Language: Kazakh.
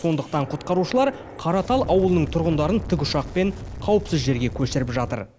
сондықтан құтқарушылар қаратал ауылының тұрғындарын тікұшақпен қауіпсіз жерге көшіріп жатыр